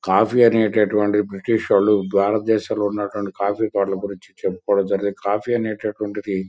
coffee అనేటటువంటిది British వాళ్ళు భారతదేశం లో ఉన్నటువంటి కాఫీ కాఫీ అనేటటువంటిది--